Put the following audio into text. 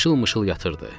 Mışıl-mışıl yatırdı.